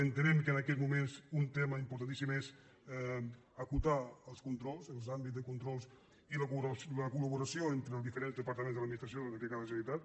entenem que en aquests moments un tema importan·tíssim és acotar els controls els àmbits de control i la col·laboració entre els diferents departaments de l’ad·ministració de la generalitat